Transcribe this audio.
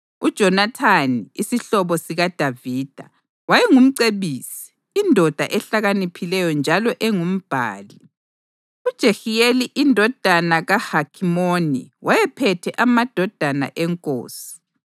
UJonathani, isihlobo sikaDavida, wayengumcebisi, indoda ehlakaniphileyo njalo engumbhali. UJehiyeli indodana kaHakhimoni wayephethe amadodana enkosi.